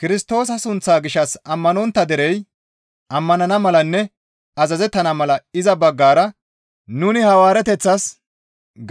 Kirstoosa sunththaa gishshas ammanontta derey ammanana malanne azazettana mala iza baggara nuni hawaarateththas